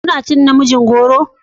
Kana cin namijin goro?